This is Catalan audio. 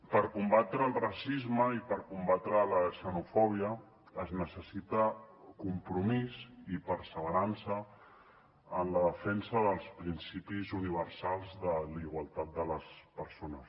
per combatre el racisme i per combatre la xenofòbia es necessiten compromís i perseverança en la defensa dels principis universals de la igualtat de les persones